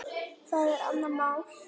Það er annað mál.